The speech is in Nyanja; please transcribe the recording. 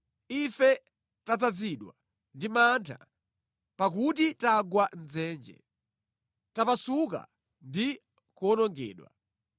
Ife tadzazidwa ndi mantha pakuti tagwa mʼdzenje, tapasuka ndi kuwonongedwa.”